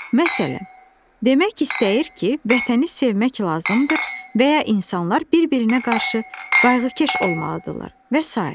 Məsələn, demək istəyir ki, vətəni sevmək lazımdır və ya insanlar bir-birinə qarşı qayğıkeş olmalıdırlar və sairə.